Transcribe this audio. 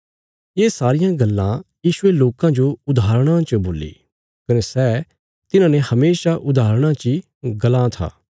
ये सारियां गल्लां यीशुये लोकां जो उदाहरण देईने बोल्ली कने सै तिन्हांने हमेशा उदाहरणा ची गलां था